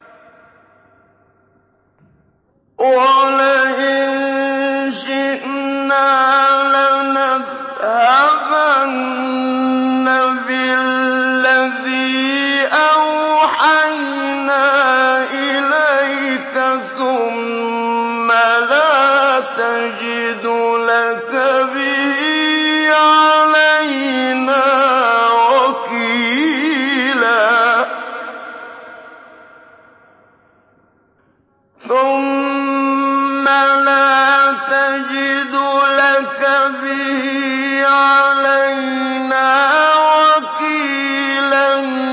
وَلَئِن شِئْنَا لَنَذْهَبَنَّ بِالَّذِي أَوْحَيْنَا إِلَيْكَ ثُمَّ لَا تَجِدُ لَكَ بِهِ عَلَيْنَا وَكِيلًا